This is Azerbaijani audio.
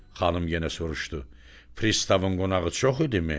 Xanım yenə soruşdu: Pristavın qonağı çox idimi?